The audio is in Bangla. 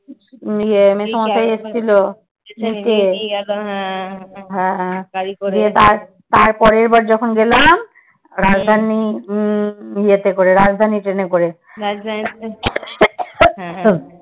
ইয়ে হ্যাঁ দিয়ে তারপরের বার যখন গেলাম রাজধানী উম ইয়ে তে করে রাজধানী ট্রেনেতে করে।